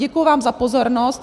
Děkuji vám za pozornost.